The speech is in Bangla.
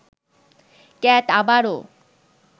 ক্যাট আবারও